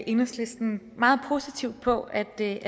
enhedslisten meget positivt på at det